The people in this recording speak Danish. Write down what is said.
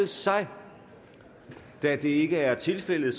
sig da det ikke er tilfældet